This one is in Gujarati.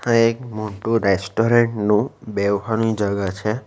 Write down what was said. આ એક મોટું રેસ્ટોરેન્ટ નું બેહવાની જગા છે.